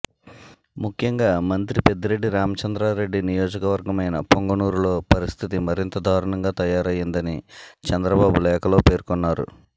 ముఖ్యంగా మంత్రి పెద్దిరెడ్డి రామచంద్రారెడ్డి నియోజకవర్గమయిన పుంగనూరులో పరిస్థితి మరింత దారుణంగా తయారయ్యిందని చంద్రబాబు లేఖలో పేర్కొన్నారు